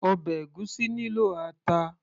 ọbẹ̀ ègúsí nílò ata